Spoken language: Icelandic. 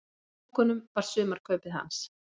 Í pokunum var sumarkaupið hans.